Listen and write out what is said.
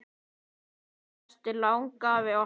Elsku besti langafi okkar.